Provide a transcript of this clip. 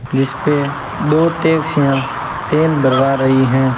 जिस पे दो टैक्सियां तेल भरवा रही हैं।